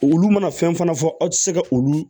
Olu mana fɛn fana fɔ aw ti se ka olu